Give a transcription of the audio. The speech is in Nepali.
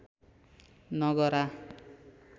नगरा